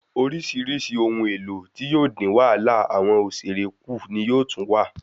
Orísirísi ohun èlò tí yóò dín wàhálà awọn òṣèré ku ni yóò tún wà